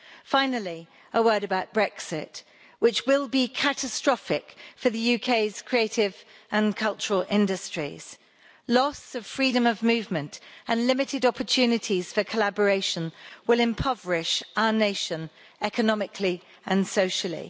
Finally, a word about Brexit, which will be catastrophic for the UK's creative and cultural industries loss of freedom of movement and limited opportunities for collaboration will impoverish our nation economically and socially.